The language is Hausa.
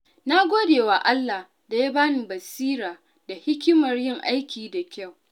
Na gode wa Allah da ya bani basira da hikimar yin aiki da kyau.